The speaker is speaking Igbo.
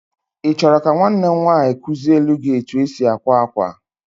Ị chọrọ ka nwanne m nwaanyị kuziele gị etu e si akwa akwa.